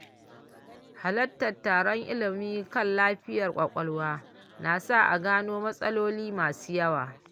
Halartar taron ilimi kan lafiyar ƙwaƙwalwa na sa a gano matsaloli masu yawa.